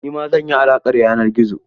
Nima zan yi alaƙar yanar gizo.